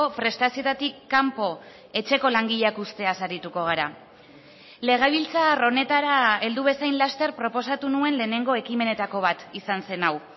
prestazioetatik kanpo etxeko langileak uzteaz arituko gara legebiltzar honetara heldu bezain laster proposatu nuen lehenengo ekimenetako bat izan zen hau